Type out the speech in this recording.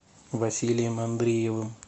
василием андреевым